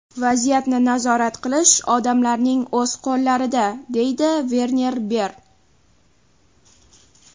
Vaziyatni nazorat qilish odamlarning o‘z qo‘llarida”, deydi Verner Ber.